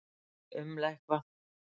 Ég umla eitthvað.